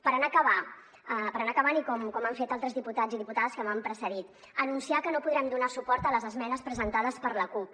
per anar acabant i com han fet altres diputats i diputades que m’han precedit anunciar que no podrem donar suport a les esmenes presentades per la cup